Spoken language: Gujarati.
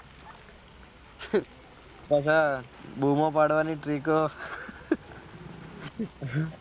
બધે બુમો પડવાની trick ઓ